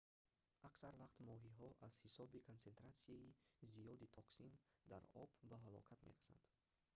аксар вақт моҳиҳо аз ҳисоби консентратсияи зиёди токсин дар об ба ҳалокат мерасанд